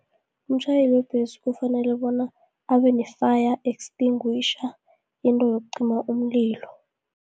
Umtjhayeli webhesi kufanele bona, abene-Fire extinguisher into yokucima umlilo.